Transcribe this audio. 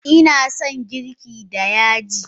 Ina son girki da yaji.